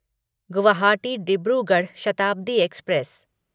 Guwahati Dibrugarh Shatabdi express